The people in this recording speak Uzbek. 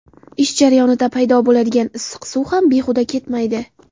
Ish jarayonida paydo bo‘ladigan issiq suv ham behuda ketmaydi.